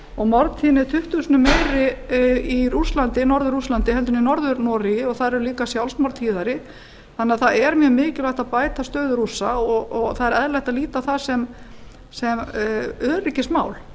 og morðtíðni er tuttugu sinnum meiri í norður rússlandi heldur en í norður noregi og þar eru líka sjálfsmorð tíðari þannig að það er mjög mikilvægt að bæta stöðu rússa og það er eðlilegt að líta á það sem öryggismál